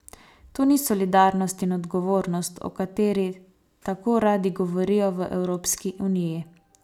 To ni solidarnost in odgovornost, o kateri tako radi govorijo v Evropski uniji.